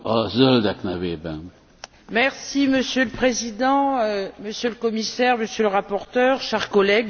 Monsieur le Président, Monsieur le Commissaire, Monsieur le rapporteur, chers collègues, pourquoi ce rapport?